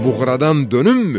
Bir buğradan dönümmü?